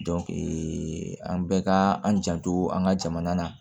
an bɛɛ ka an janto an ka jamana na